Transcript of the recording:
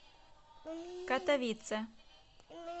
катовице